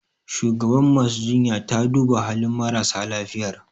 Shugabar masu jinyar ta duba halin marasa lafiyar